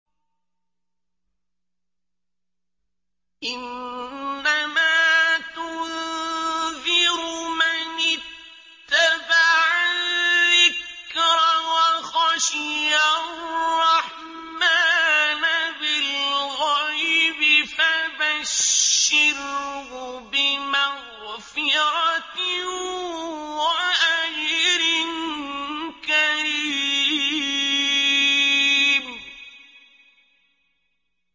إِنَّمَا تُنذِرُ مَنِ اتَّبَعَ الذِّكْرَ وَخَشِيَ الرَّحْمَٰنَ بِالْغَيْبِ ۖ فَبَشِّرْهُ بِمَغْفِرَةٍ وَأَجْرٍ كَرِيمٍ